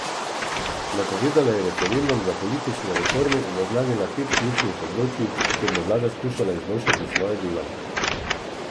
Napovedala je referendum za politične reforme in naznanila pet ključnih področij, kjer bo vlada skušala izboljšati svoje delo.